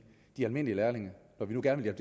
de almindelige lærlinge når vi nu gerne vil